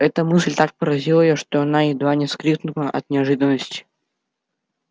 эта мысль так поразила её что она едва не вскрикнула от неожиданности